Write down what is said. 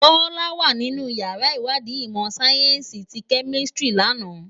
Bola wá ninú iyàrá iwàdí imò sáyènsí ti Kèmisitiri làná